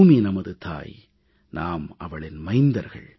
பூமி நமது தாய் நாம் அவளின் மைந்தர்கள்